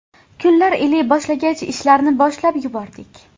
Kunlar iliy boshlagach ishlarni boshlab yubordik.